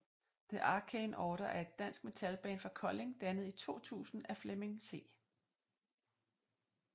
The Arcane Order er et dansk metalband fra Kolding dannet i 2000 af Flemming C